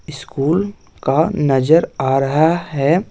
School का नजर आ रहा है।